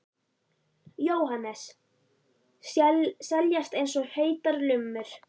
Jóhannes: Seljast eins og heitar lummur?